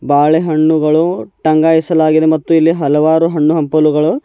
ಬಾಳೆಹಣ್ಣುಗಳು ಟಂಗಾಯಿಸಲಾಗಿದೆ ಮತ್ತು ಇಲ್ಲಿ ಹಲವಾರು ಹಣ್ಣು ಹಂಪಲುಗಳು --